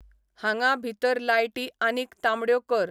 हांगा भितर लायटी आनीक तांबड्यो कर.